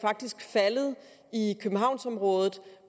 faldet i københavnsområdet